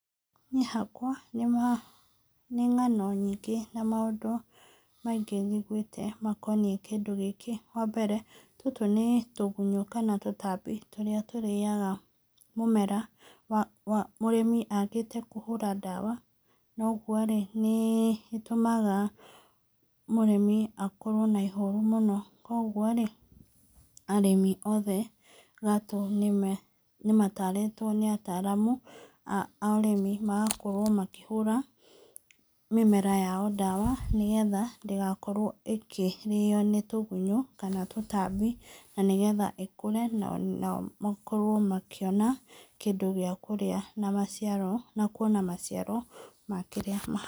Niĩ hakwa nĩ ng'ano nyingĩ na maũndũ maingĩ njiguĩte makoniĩ kĩndũ gĩkĩ. Wa mbere tũtũ nĩ tũgunyũ kana tũtambi tũrĩa tũrĩaga mũmera mũrĩmi agĩte kũhũra ndawa noguo-rĩ, nĩĩtũmaga mũrĩmi akorwo na ihoru mũno. Kũoguo-rĩ arĩmi othe gatũ nĩmatarĩtwo nĩ ataramu a ũrĩmi magakorwo makĩhũra mĩmera yao ndawa nĩ getha ndĩgakorwo ĩkĩrĩo nĩ tũgunyũ kana tũtambi na nĩgetha ĩkũre nao makorwo makĩona kĩndũ gĩa kũrĩa na maciaro, na kuona maciaro ma kĩrĩa mahanda.